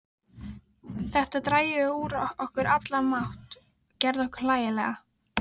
Þetta drægi úr okkur allan mátt, gerði okkur hlægilega.